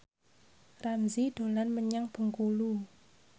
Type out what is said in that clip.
Ramzy dolan menyang Bengkulu